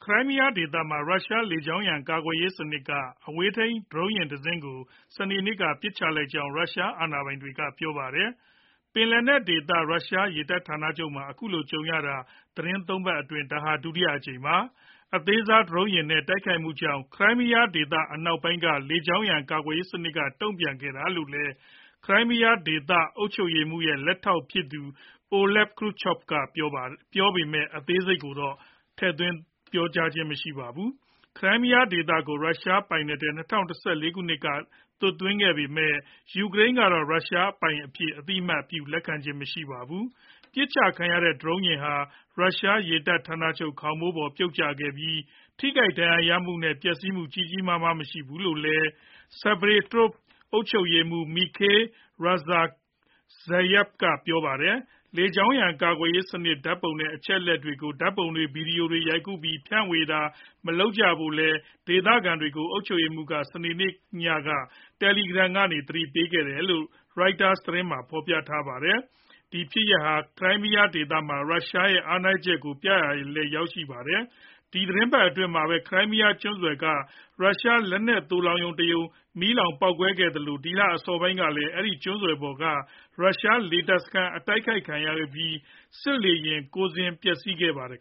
ရိုင်းမီးယားဒေသမှာ ရုရှားလေကြောင်းရန် ကာကွယ်ရေးစနစ်က အဝေးထိန်း ဒရုန်းယာဉ်တစင်းကို စနေနေ့က ပစ်ချလိုက်ကြောင်း ရုရှားအာဏာပိုင်တွေက ပြောပါတယ်။ ပင်လယ်နက်ဒေသ ရုရှားရေတပ်ဌာနချုပ်မှာ အခုလို ကြုံရတာ သီတင်း ၃ ပတ်အတွင်း ဒါဟာ ဒုတိယအကြိမ်ပါ။ အသေးစားဒရုန်းယာဉ်တွေနဲ့ တိုက်ခိုက်မှုကြောင့် ခရိုင်းမီးယားဒေသ အနောက်ပိုင်းက လေကြောင်းရန် ကာကွယ်ရေး စနစ်က တုံ့ပြန်ခဲ့တာလို့လည်း ခရိုင်းမီးယားဒေသ အုပ်ချုပ်ရေးမှူးရဲ့ လက်ထောက်ဖြစ်သူ Oleg Kryuchkov ကပြောပေမဲ့ အသေးစိတ်တော့ မပြောပါဘူး။ ခရိုင်းမီးယားဒေသကို ရုရှားပိုင်နက်ထဲ ၂၀၁၄ ခုနှစ်မှာ သွတ်သွင်းခဲ့ပေမဲ့ ယူကရိန်းကတော့ ရုရှားပိုင်အဖြစ် အသိအမှတ် လက်မခံပါဘူး။ ပစ်ချခံရတဲ့ ဒရုန်းယာဉ်ဟာ ရုရှားရေတပ်ဌာနချုပ် ခေါင်မိုးပေါ် ပြုတ်ကျခဲ့ပြီး၊ ထိခိုက်ဒဏ်ရာရသူနဲ့ ပျက်စီးမှု ကြီးကြီးမားမား မရှိခဲ့ဘူးလို့လည်း Sevastopol အုပ်ချုပ်ရေးမှူး Mikhail Razvozhaev ကပြောပါတယ်။ လေကြောင်းရန် ကာကွယ်ရေးစနစ် ဓာတ်ပုံတွေနဲ့ အချက်အလက်တွေကို ဓာတ်ပုံတွေ၊ ဗွီဒီယိုတွေရိုက်ကူးပြီး ဖြန့်ဝေတာတွေ မလုပ်ကြဖို့လည်း ဒေသခံတွေကို အုပ်ချုပ်ရေးမှူးက စနေနေ့ညမှာ Telegram ကနေ သတိပေးခဲ့တယ်လို့လည်း Reuters သတင်းက ဖော်ပြပါတယ်။ ဒီဖြစ်ရပ်ဟာ ခရိုင်းမီးယား ဒေသမှာ ရုရှားရဲ့ အားနည်းချက်ကို ပြသရာလည်း ရောက်ခဲ့တာပါ။ ဒီသီတင်းပတ်အတွင်းမှာပဲ Crimea ကျွန်းဆွယ်က ရုရှား လက်နက်သိုလှောင်ရုံတရုံ ပေါက်ကွဲမီးလောင်ခဲ့သလို ဒီလအစောပိုင်းကလည်း အဲဒီကျွန်းဆွယ်ပေါ်က ရုရှားလေတပ်စခန်း တိုက်ခိုက်ခံရပြီး စစ်လေယာဉ် ၉ စင်း ပျက်စီးခဲ့ပါတယ်